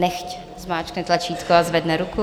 Nechť zmáčkne tlačítko a zvedne ruku.